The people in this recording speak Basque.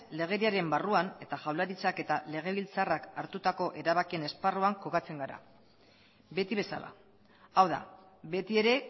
legediaren barruan eta jaurlaritzak eta legebiltzarrak hartutako erabakien esparruan kokatzen gara beti bezala hau da beti ere